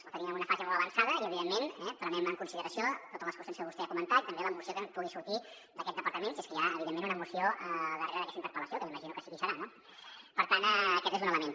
la tenim en una fase molt avançada i evidentment prenem en consideració totes les qüestions que vostè ha comentat i també la moció que pugui sortir d’aquest departament si és que hi ha evidentment una moció al darrere d’aquesta interpel·lació que m’imagino que sí que hi serà no per tant aquest és un element